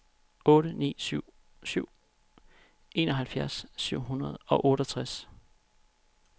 otte ni syv syv enoghalvfjerds syv hundrede og otteogtres